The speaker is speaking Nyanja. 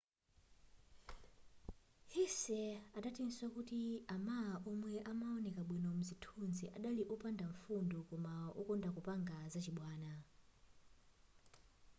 hsieh adatinso kuti a ma omwe amaoneka bwino mzithunzi adali opanda mfundo koma wokonda kupanga zachibwana